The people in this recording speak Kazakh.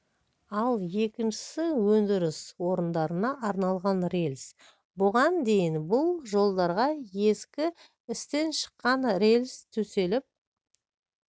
ал екіншісі өндіріс орындарына арналған рельс бұған дейін бұл жолдарға ескі істен шыққан рельс төселіп